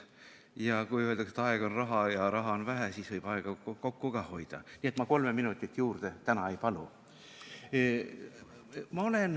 Ja kui öeldakse, et aeg on raha ja raha on vähe, siis võiks aega kokku hoida, nii et ma kolme minutit täna juurde ei palu.